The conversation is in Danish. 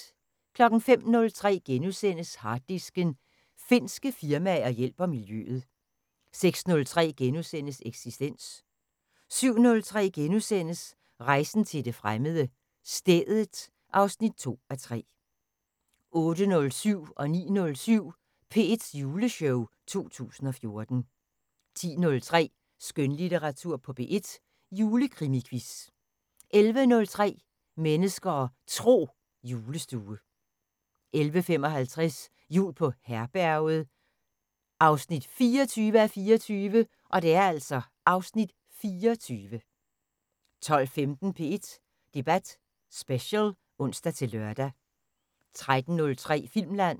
05:03: Harddisken: Finske firmaer hjælper miljøet * 06:03: Eksistens * 07:03: Rejsen til det fremmede: Stedet (2:3)* 08:07: P1's juleshow 2014 09:07: P1's juleshow 2014 10:03: Skønlitteratur på P1: Julekrimiquiz 11:03: Mennesker og Tro: Julestue 11:55: Jul på Herberget 24:24 (Afs. 24) 12:15: P1 Debat Special (ons-lør) 13:03: Filmland